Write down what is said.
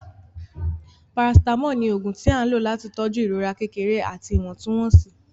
paracetamol ní oògùn tí a lò láti tọju ìrora kékeré àti iwọntwontun-wonsi.